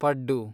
ಪಡ್ಡು